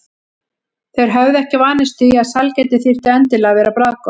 Þeir höfðu ekki vanist því að sælgæti þyrfti endilega að vera bragðgott.